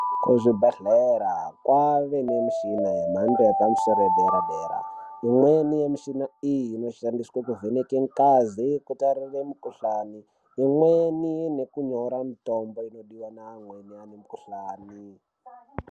Kuzvibhedhleya kwave nemishina yemhando yepamusoro yedera-dera, imweni yemishina iyi, inoshandiswa kuvheneka ngazi, kutarire mikhuhlani, imweni nekunyora mitombo inodiwa naamweni amukhuhlani.